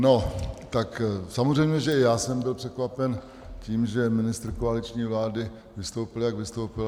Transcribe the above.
No, tak samozřejmě že i já jsem byl překvapen tím, že ministr koaliční vlády vystoupil, jak vystoupil.